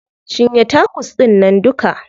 Cinye tacos ɗInnan duka.